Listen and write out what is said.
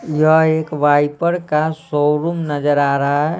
यह एक वाइपर का शोरूम नजर आ रहा है।